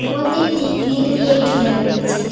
মন্দিরটি গ্রীল দিয়ে ঘেরা রয়েছে।